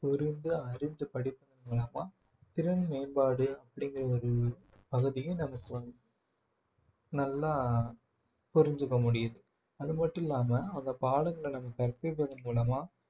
புரிந்து அறிந்து படிக்கும் மூலமா திறன் மேம்பாடு அப்படிங்கிற ஒரு பகுதியை நமக்கு நல்லா புரிஞ்சுக்க முடியுது அது மட்டும் இல்லாம அந்த பாடங்களை நம்ம கற்பிப்பது மூலமா